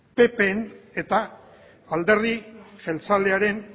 ppen eta alderdi jeltzalearen